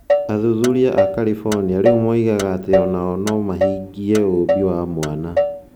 Athuthuria a California rĩu moigaga atĩ o nao no mahingie ũũmbi wa mwana.